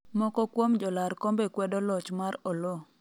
moko kuom jolar kombe kwedo loch mar Oloo